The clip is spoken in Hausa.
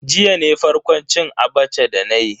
Jiya ne farkon cin Abacha dana yi.